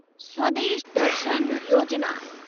स्वदेश दर्शन योजिना